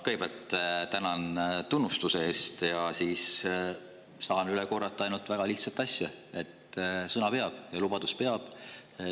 Kõigepealt tänan tunnustuse eest ja siis saan üle korrata ainult väga lihtsat asja: sõna peab ja lubadus peab.